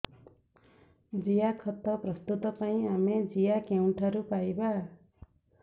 ଜିଆଖତ ପ୍ରସ୍ତୁତ ପାଇଁ ଆମେ ଜିଆ କେଉଁଠାରୁ ପାଈବା